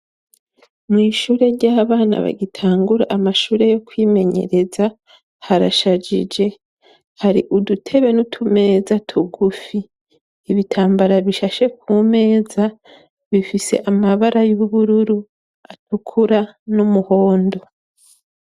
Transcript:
Mw' ishure ry'abana bagitangura amashure yo kwimenyereza harashajije. Hari udutebe n'utumeza tugufi. Ibitambara bishashe ku meza bifise amabara y'ubururu, atukura n'umuhondo.